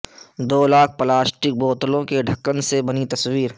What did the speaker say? دو lakh plastic بوتلوں کے ڈھکن سے بنی تصویر